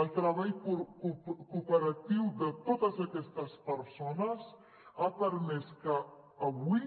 el treball cooperatiu de totes aquestes persones ha permès que avui